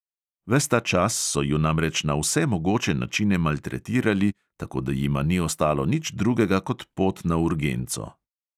Ves ta čas so ju namreč na vse mogoče načine maltretirali, tako da jima ni ostalo nič drugega kot pot na urgenco.